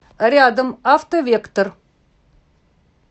рядом автовектор